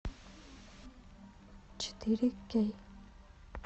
четыре кей